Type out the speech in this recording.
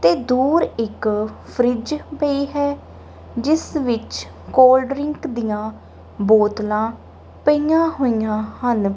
ਤੇ ਦੂਰ ਇੱਕ ਫਰਿਜ ਪਈ ਹੈ ਜਿਸ ਵਿੱਚ ਕੋਲਡਰਿੰਕ ਦੀਆਂ ਬੋਤਲਾਂ ਪਈਆਂ ਹੋਈਆਂ ਹਨ।